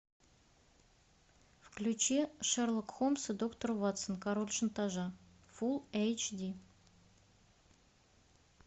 включи шерлок холмс и доктор ватсон король шантажа фулл эйч ди